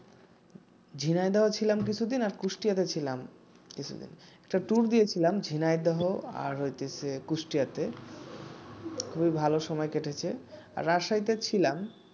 ঝিনাইদহ ছিলাম কিছুদিন আর কুষ্টিয়াতে ছিলাম একটা ট্যুর দিয়েছিলাম কিছুদিন ঝিনাইদহ আর কুষ্টিয়াতে খুবই ভালো সময় কেটেছে